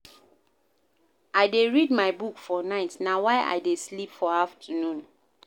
I dey read my book for night, na why I dey sleep for afternoon.